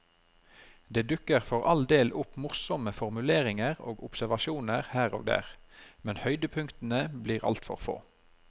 Det dukker for all del opp morsomme formuleringer og observasjoner her og der, men høydepunktene blir altfor få.